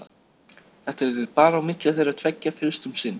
Þetta yrði bara á milli þeirra tveggja fyrst um sinn.